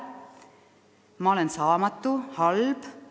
Ma olen saamatu ja halb.